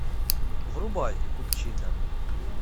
врубай купчино